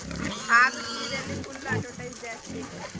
ಆದ್ರೂ serial ಲಿ full advertise ಜಾಸ್ತಿ.